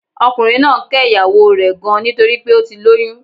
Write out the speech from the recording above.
Ọkùnrin náà ń ké ìyàwó o rè gan nítorípé ó ti lóyún